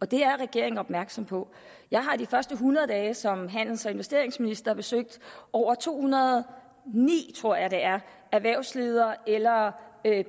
og det er regeringen opmærksom på jeg har de første hundrede dage som handels og investeringsminister besøgt over to hundrede og ni tror jeg det er erhvervsledere eller